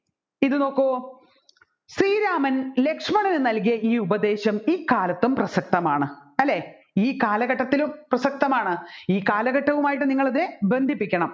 ഇത് നോക്കു ശ്രീരാമൻ ലക്ഷ്മണന് നൽകിയ ഈ ഉപദേശം ഈ കാലത്തും പ്രസക്തമാണ് അല്ലെ ഈ കാലഘട്ടത്തിലും പ്രസക്തമാണ് ഈ കാലഘട്ടവുമായിട്ട് നിങ്ങൾ ബന്ധിപ്പിക്കണം